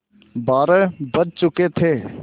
बारह बज चुके थे